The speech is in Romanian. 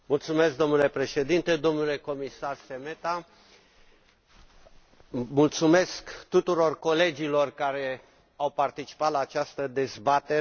Domnule președinte, domnule comisar Šemeta, mulțumesc tuturor colegilor care au participat la această dezbatere.